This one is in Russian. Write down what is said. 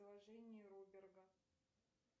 приложение роберга